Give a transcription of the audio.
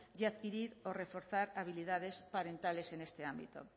y adquirir o reforzar habilidades parentales en este ámbito